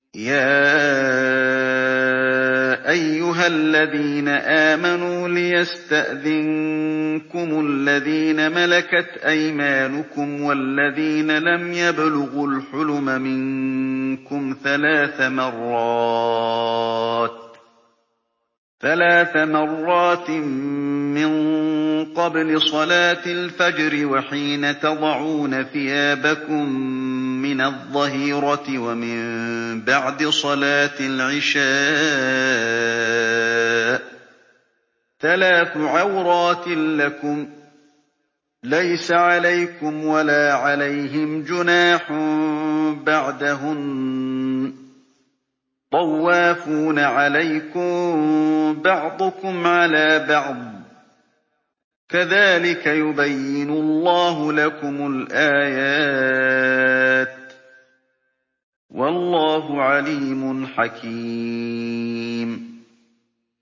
يَا أَيُّهَا الَّذِينَ آمَنُوا لِيَسْتَأْذِنكُمُ الَّذِينَ مَلَكَتْ أَيْمَانُكُمْ وَالَّذِينَ لَمْ يَبْلُغُوا الْحُلُمَ مِنكُمْ ثَلَاثَ مَرَّاتٍ ۚ مِّن قَبْلِ صَلَاةِ الْفَجْرِ وَحِينَ تَضَعُونَ ثِيَابَكُم مِّنَ الظَّهِيرَةِ وَمِن بَعْدِ صَلَاةِ الْعِشَاءِ ۚ ثَلَاثُ عَوْرَاتٍ لَّكُمْ ۚ لَيْسَ عَلَيْكُمْ وَلَا عَلَيْهِمْ جُنَاحٌ بَعْدَهُنَّ ۚ طَوَّافُونَ عَلَيْكُم بَعْضُكُمْ عَلَىٰ بَعْضٍ ۚ كَذَٰلِكَ يُبَيِّنُ اللَّهُ لَكُمُ الْآيَاتِ ۗ وَاللَّهُ عَلِيمٌ حَكِيمٌ